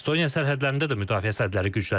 Estoniya sərhədlərində də müdafiə sədləri güclənir.